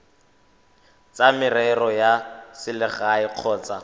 tsa merero ya selegae kgotsa